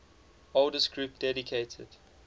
oldest group dedicated